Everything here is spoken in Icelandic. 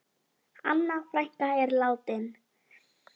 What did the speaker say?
Anna frænka er látin.